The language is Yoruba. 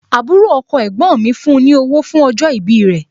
Àbúrò ọkọ ẹ̀gbọ́n mi fún ní owó fún ní owó fún ọjọ́ ìbí rẹ̀